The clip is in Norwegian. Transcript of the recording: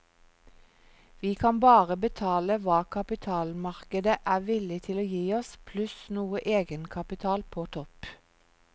Vi kan bare betale hva kapitalmarkedet er villig til å gi oss, pluss noe egenkapital på topp.